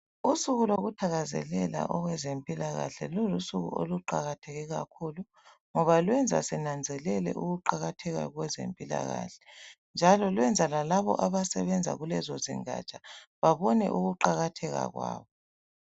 Usuku lokuthakazelela okwezempilakahle lulusuku oluqakatheke kakhulu ngoba lwenza sinanzelele ukuqakatheka kwezempilakahle njalo lwenza lalabo abasebenza kulezo zingaja babone ukuqakatheka kwabo.